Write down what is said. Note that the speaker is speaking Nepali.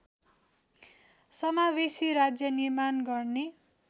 समावेशी राज्य निर्माण गर्ने